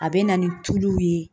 A bɛ na ni tulu ye